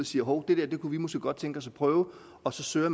siger hov det der kunne vi måske godt tænke os at prøve og så søger